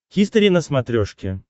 хистори на смотрешке